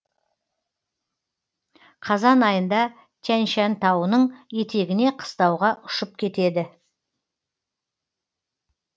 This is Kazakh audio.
қазан айында тянь шань тауының етегіне қыстауға ұшып кетеді